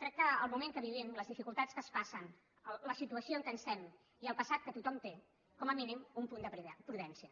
crec que pel moment que vivim les dificultats que es passen la situació en què estem i el passat que tothom té com a mínim un punt de prudència